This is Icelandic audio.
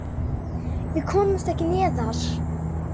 Við komumst ekki neðar.